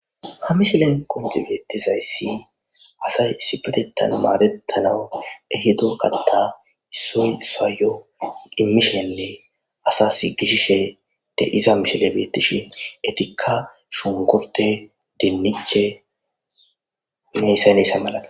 Ha mishilen qoncci bettiza aysi asay issippetetan madetanawu, ehido katta issoy issawayyo immishinne asasi gishishe de'iza mishile bettishe, etika shunkurtte ,dinniche hegane hega milathiyaba.